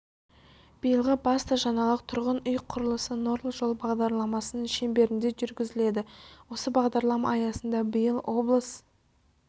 биылғы басты жаңалық тұрғын үй құрылысы нұрлы жол бағдарламасының шеңберінде жүргізіледі осы бағдарлама аясында биыл облыс